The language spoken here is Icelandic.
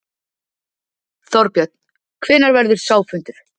Þorbjörn: Hvenær verður sá fundur?